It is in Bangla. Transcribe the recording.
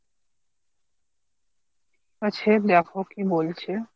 সে দেখো কি বলছে।